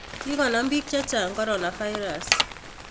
Kigonam piik chechang' coronavirus